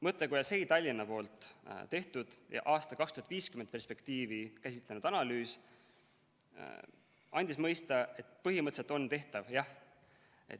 Mõttekoja SEI Tallinna tehtud ja aasta 2050 perspektiivi käsitlenud analüüs andis mõista, et põhimõtteliselt on tehtav, jah.